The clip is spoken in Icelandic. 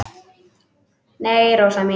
Nei, Rósa mín.